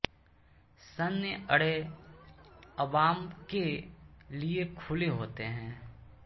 सैन्य अड्डे अवाम के लिए खुले होते हैं